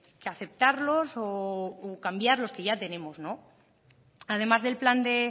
que aceptarlos o cambiar los que ya tenemos además del plan de